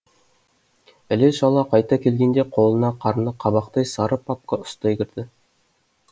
іле шала қайта келгенде қолына қарны қабақтай сары папка ұстай кірді